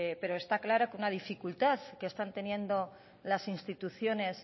pero está claro que una dificultad están teniendo las instituciones